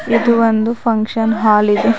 ಇದು ಒಂದು function hall ಇದೆ.